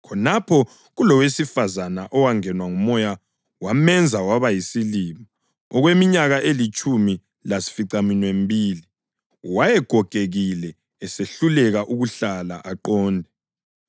khonapho kulowesifazane owangenwa ngumoya wamenza waba yisilima okweminyaka elitshumi lasificaminwembili. Wayegogekile esehluleka ukuhlala aqonde.